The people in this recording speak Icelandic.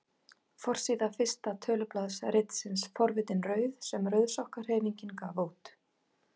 Forsíða fyrsta tölublaðs ritsins Forvitin rauð sem Rauðsokkahreyfingin gaf út.